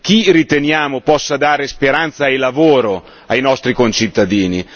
Chi riteniamo possa dare speranza e lavoro ai nostri concittadini?